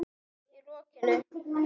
Í rokinu?